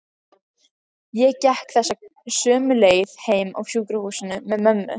Ég gekk þessa sömu leið heim af sjúkrahúsinu með mömmu.